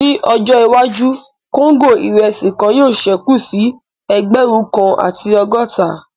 Ní ọjọ́ iwájú, kóńgò irẹsi kan yóò sẹ́kù sí ẹgbẹ̀rún kan àti ọgọ́ta